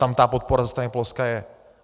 Tam ta podpora ze strany Polska je.